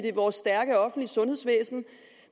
vores stærke offentlige sundhedsvæsen